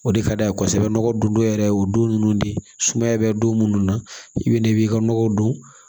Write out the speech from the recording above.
O de ka d'a ye kosɛbɛ nɔgɔ don dɔ yɛrɛ ye o don nunnu de ye sumaya bɛ don minnu na i bɛ na i b'i ka nɔgɔ don